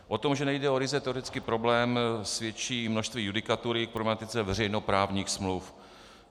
O tom, že nejde o ryze teoretický problém, svědčí množství judikatury k problematice veřejnoprávní smluv.